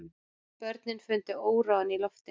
Börnin fundu óróann í loftinu.